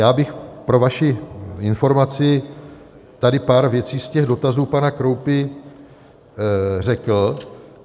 Já bych pro vaši informaci tady pár věcí z těch dotazů pana Kroupy řekl.